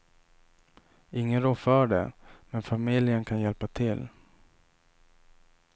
Ingen rår för det, men familjen kan hjälpa till.